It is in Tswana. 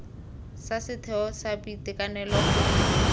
sa setheo sa boitekanelo gongwe